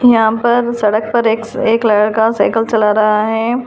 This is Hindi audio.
यहाँ पर सड़क पर एक्स एक लड़का साइकल चला रहा है।